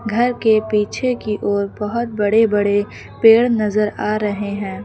घर के पीछे की ओर बहोत बड़े बड़े पेड़ नजर आ रहे हैं।